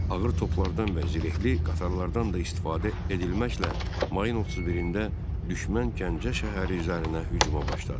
Ağır toplardan və zirehli qatarlardan da istifadə edilməklə mayın 31-də düşmən Gəncə şəhəri üzərinə hücuma başladı.